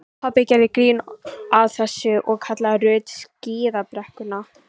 Pabbi gerði grín að þessu og kallaði Ruth skíðabrekkuna.